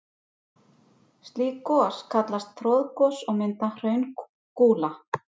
Slík gos kallast troðgos og mynda hraungúla.